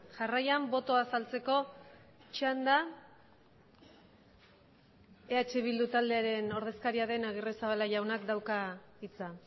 jarraian botoa azaltzeko txanda eh bildu taldearen ordezkaria den agirrezabala jaunak dauka hitza